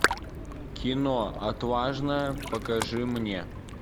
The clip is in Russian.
кино отважная покажи мне